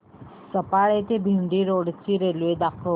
सफाळे ते भिवंडी रोड ची रेल्वे दाखव